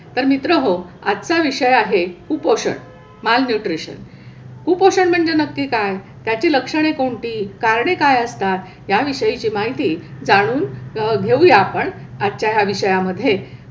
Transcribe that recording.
तर मित्रहो, आजचा विषय आहे कुपोषण. मालन्यूट्रिशन. कुपोषण म्हणजे नक्की काय? त्याची लक्षणे कोणती? कारणे काय असतात? याविषयीची माहिती जाणून घेऊया आपण आजच्या या विषयामध्ये.